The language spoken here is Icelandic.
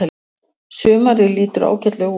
Sumarið lítur ágætlega út.